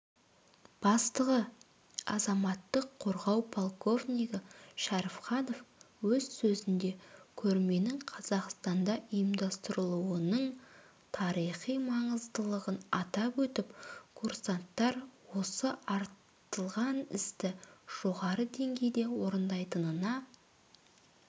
бастығы азаматтық қорғау полковнигі шәріпханов өз сөзінде көрменің қазақстанда ұйымдастырылуының тарихи маңыздылығын атап өтіп курсанттар осы артылған істі жоғары деңгейде орындайтынына